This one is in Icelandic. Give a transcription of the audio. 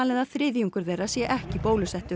að þriðjungur þeirra sé ekki bólusettur